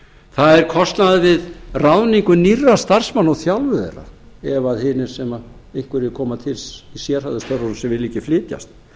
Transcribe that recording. það er kostnaður við ráðningu nýrra starfsmanna og þjálfun þeirra ef hinir sem einhverjir koma til í sérhæfðu störfunum vilja ekki flytjast